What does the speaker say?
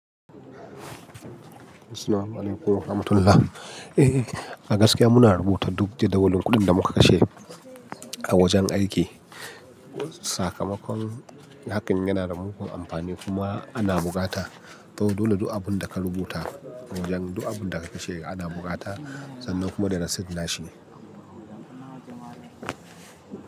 Assalamualaikum warahmatullahi. Eh, a gaskiya muna rubuta duk deden wannan kuɗin da muka kashe a wajen aiki. Sakamakon hakan yana da mugun amfani kuma ana bukata. To dole duk abun da ka rubuta, wajen duk abun da ka kashe ana bukata sannan kuma da rasit na shi.